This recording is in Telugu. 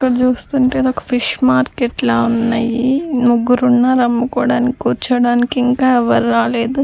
ఇక్కడ చూస్తుంటే నాకు ఫిష్ మార్కెట్ లా ఉన్నయి ముగ్గురున్నారు అమ్ముకోడానికి కూర్చోడానికి ఇంకా ఎవరు రాలేదు.